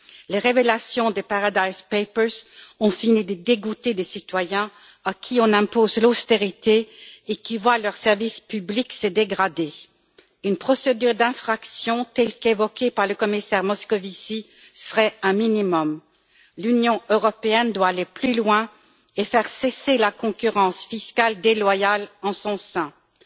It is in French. Les révélations des Paradise Papers ont fini par dégoûter les citoyens, à qui on impose l'austérité et qui voient leurs services publics se dégrader. Une procédure d'infraction, telle qu'évoquée par le commissaire Moscovici, serait un minimum. L'Union européenne doit aller plus loin et faire cesser la concurrence fiscale déloyale en son sein. Troisièmement,